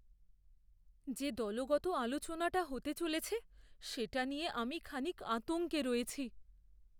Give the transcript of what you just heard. যে দলগত আলোচনাটা হতে চলেছে সেটা নিয়ে আমি খানিক আতঙ্কে রয়েছি।